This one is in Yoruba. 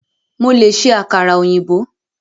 Mo lè ṣe àkàrà ọ̀yìnbó.